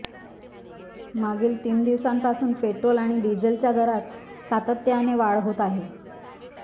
मागील तीन दिवसांपासून पेट्रोल आणि डिझेलच्या दरात सातत्याने वाढ होत आहे